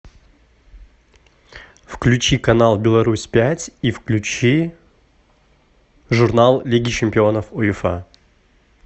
включи канал беларусь пять и включи журнал лиги чемпионов уефа